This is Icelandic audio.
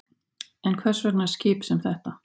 En hvers vegna skip sem þetta?